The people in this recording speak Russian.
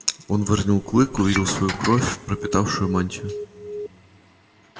он выронил клык увидел свою кровь пропитавшую мантию